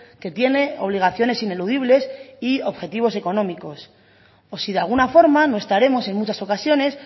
que tiene obligaciones ineludibles y objetivos económicos o si de alguna forma no estaremos en muchas ocasiones